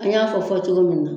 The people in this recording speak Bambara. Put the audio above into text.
An y'a fɔ fɔcogo min na.